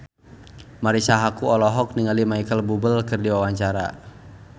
Marisa Haque olohok ningali Micheal Bubble keur diwawancara